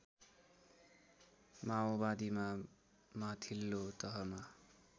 माओवादीमा माथिल्लो तहमा